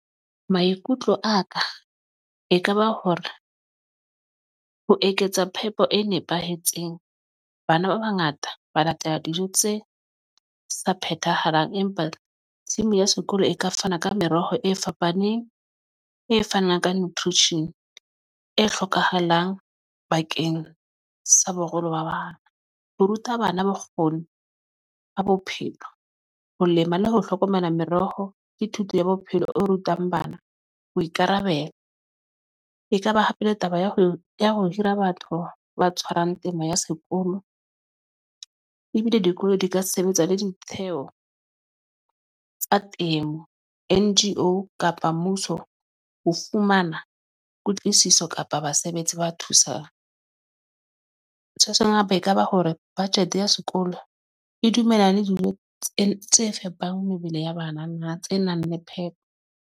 Maikutlo a ka ekaba hore ho eketsa phepo e nepahetseng. Bana ba bangata ba latela dijo tse sa phethahaleng, empa tshimo ya sekolo e ka fana ka meroho e fapaneng e fanang ka Nthute Shin e hlokahalang bakeng sa boholo ba bang. Ho ruta bana bokgoni ba bophelo, ho lema le ho hlokomela meroho ke thuto ya bophelo o rutang bana boikarabelo. Ekaba hape le taba ya ho ya ho hira batho ba tshwarang temo ya sekolo ebile dikolo di ka sebetsa le ditshenyeho tsa temo N_G_O kapa mmuso ho fumana kutlwisiso kapa basebetsi ba thusana. Se tshwaseng hape ekaba hore budget ya sekolo e dumella le dijo tse tse fepang mebele ya banana tse nang le phepo.